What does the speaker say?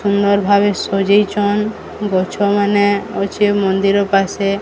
ସୁନ୍ଦର ଭାବେ ସଜେଇଛନ୍ ଗଛ ମାନେ ଅଛେ ମନ୍ଦିର ପାଶେ।